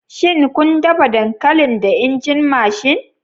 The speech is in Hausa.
Shin kun dafa dankalin da injin mashin?